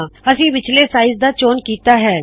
ਅਸੀ ਵਿੱਚਲੇ ਸਾਇਜ਼ ਦਾ ਚੌਨ ਕੀਤਾ ਹੈ